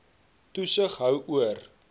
toesig hou oor